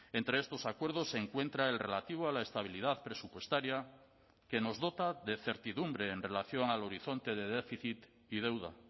entre estos acuerdos se encuentra el relativo a la estabilidad presupuestaria que nos dota de certidumbre en relación al horizonte de déficit y deuda